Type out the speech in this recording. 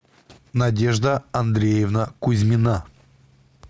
надежда андреевна кузьмина